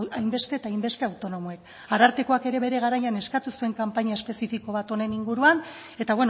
hainbeste eta hainbeste autonomoek arartekoak ere bere garaian eskatu zuen kanpaina espezifiko bat honen inguruan eta